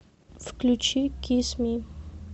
включи кис ми